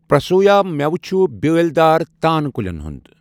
پرٛسو یا مؠو چھ بیٲلۍ دار تان کُلٮ۪ن ہُنٛد